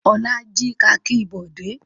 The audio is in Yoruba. Olá jí kakí Bọ̀dé?